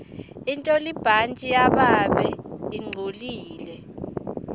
intolibhantji lababe lingcolile